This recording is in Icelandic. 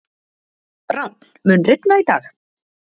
Rafn, mun rigna í dag?